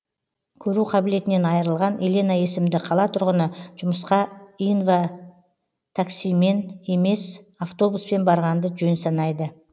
көру қабілетінен айырылған елена есімді қала тұрғыны жұмысқа инватаксимен емес автобуспен барғанды жөн санайды